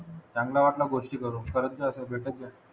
चांगला वाटलं गोष्टी करून करत जा असा भेटत जा